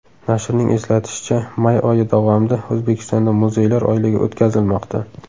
Nashrning eslatishicha, may oyi davomida O‘zbekistonda muzeylar oyligi o‘tkazilmoqda.